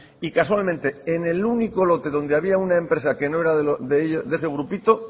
y casualmente en el único lote donde había una empresa que no era de ese grupito